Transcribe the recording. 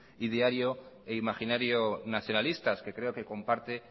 y diría yo imaginario nacionalistas que creo que comparte